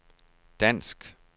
dansk